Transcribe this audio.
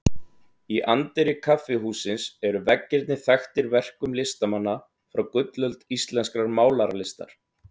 Í anddyri kaffihússins eru veggirnir þaktir verkum listamanna frá gullöld íslenskrar málaralistar.